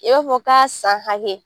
I b'a fɔ k'a san hakɛ.